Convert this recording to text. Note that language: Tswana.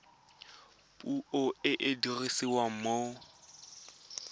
puo e e dirisiwang mo